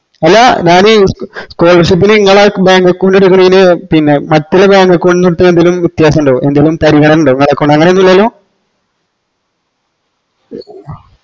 അല്ല ഞാനീ scholarship ന് ഇങ്ങളെ bank account എടുക്കണയിന് പിന്നെ മറ്റുളള bank account ന് ന്തെങ്കിലും വെത്യാസം ഇൻഡോ ന്തേലും പരിഗണന ഇൻഡോ ഇങ്ങളെ account അങ്ങനെയൊന്നുല്ലല്ലോ